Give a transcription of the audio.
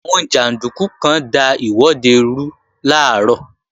Àwọn jàndúkú kan da ìwọ́de rú làárọ̀